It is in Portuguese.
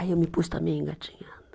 Aí eu me pus também engatinhando.